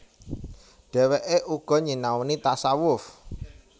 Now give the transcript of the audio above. Dhèwèké uga nyinaoni tasawuf